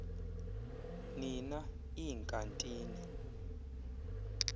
ni na iinkantini